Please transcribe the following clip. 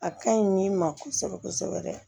A ka ɲi min ma kosɛbɛ kosɛbɛ yɛrɛ